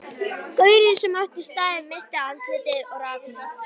Gaurinn sem átti staðinn missti andlitið og rak mig.